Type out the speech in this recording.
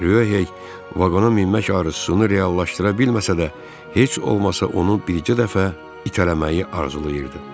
Ryohey vaqona minmək arzusunu reallaşdıra bilməsə də, heç olmasa onu bircə dəfə itələməyi arzulayırdı.